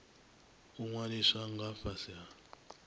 u ṅwaliswa nga fhasi ha